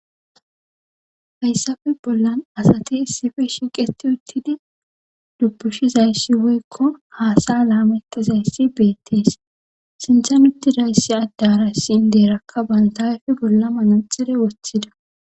Hayssafe bollan asati issipe shiiqetti uttidi dubbushizayssi woykko haasa7a laamettizayssi beettees,sinthan uttida issi addara issi inddeerakka bantta ayfe bola manaxxire wothidi.